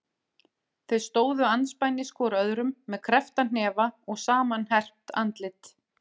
Þeir stóðu andspænis hvor öðrum með kreppta hnefa og samanherpt andlit.